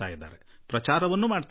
ಪ್ರಚಾರವನ್ನು ಮಾಡುತ್ತಾರೆ